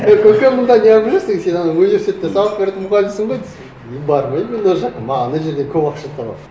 е көке мында не қылып жүрсің ей сен ана университетте сабақ беретін мұғалімсің ғой десем е бармаймын мен ол жаққа маған мына жерде көп ақша табамын